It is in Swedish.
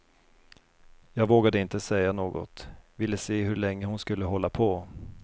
Jag vågade inte säga något, ville se hur länge hon skulle hålla på.